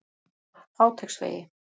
Háteigsvegi